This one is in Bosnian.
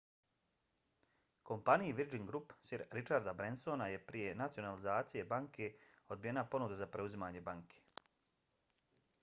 kompaniji virgin group sir richarda bransona je prije nacionalizacije banke odbijena ponuda za preuzimanje banke